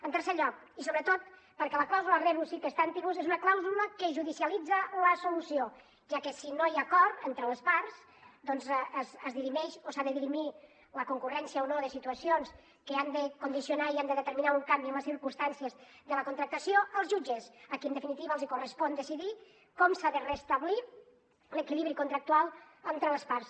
en tercer lloc i sobretot perquè la clàusula rebus sic stantibus és una clàusula que judicialitza la solució ja que si no hi ha acord entre les parts doncs es dirimeix o s’ha de dirimir la concurrència o no de situacions que han de condicionar i han de determinar un canvi en les circumstàncies de la contractació als jutges a qui en definitiva els correspon decidir com s’ha de restablir l’equilibri contractual entre les parts